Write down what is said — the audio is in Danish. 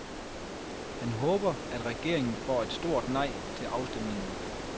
Han håber, at regeringen får et stort nej til afstemningen.